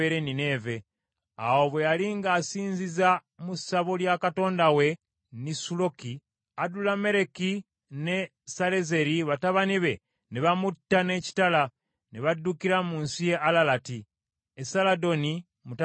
Awo bwe yali ng’asinziza mu ssabo lya katonda we Nisuloki Adulammereki ne Salezeri batabani be ne bamutta n’ekitala, ne baddukira mu nsi y’e Alalati. Esaladoni mutabani we n’amusikira.